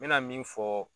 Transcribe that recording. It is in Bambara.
N mɛna min fɔ